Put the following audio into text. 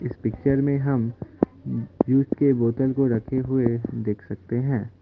इस पिक्चर में हम के बोतल को रखे हुए देख सकते हैं।